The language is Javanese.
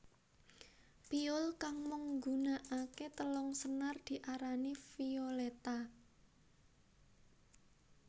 Piyul kang mung nggunakaké telung senar diarani violetta